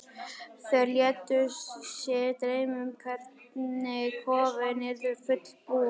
Þær létu sig dreyma um hvernig kofinn yrði fullbúinn.